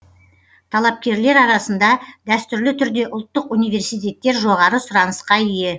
талапкерлер арасында дәстүрлі түрде ұлттық университеттер жоғары сұранысқа ие